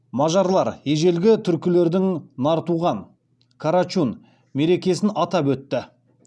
мажарлар ежелгі түркілердің нартуған мерекесін атап өтті